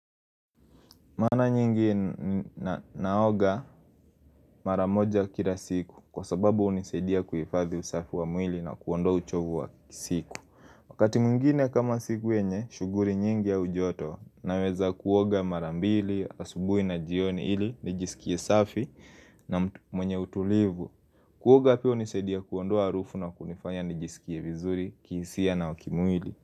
Mara nyingi naoga mara moja kila siku kwa sababu hunisaidia kuhifadhi usafi wa mwili na kuondoa uchovu wa siku. Wakati mwingine, kama siku yenye shughuli nyingi au joto, naweza kuoga mara mbili, asubuhi na jioni, ili nijisikie safi na mwenye utulivu. Kuoga pia hunisaidia kuondoa harufu na kunifanya nijisikie vizuri, kihisia na kimwili.